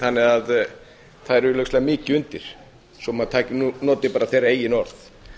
þannig að það er augljóslega mikið undir svo maður noti bara þeirra eigin orð